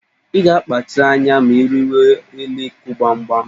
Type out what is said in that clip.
Ị ga-akpachara anya ma ị rịwa elu ịkụ gbamgbam